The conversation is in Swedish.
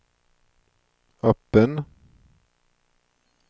öppen